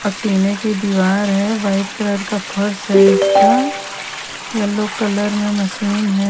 की दीवार है। व्हाईट कलर का फर्स है इसका। येलो कलर में मशीन है।